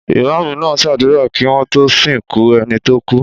Ìmáámù náà ṣàdúrà kí wọ́n tó sìnkú ẹni tó kú.